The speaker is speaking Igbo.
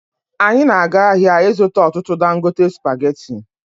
Anyị na-aga ahịa ịzụta ọtụtụ dangote spageti